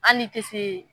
Hali ni tɛ se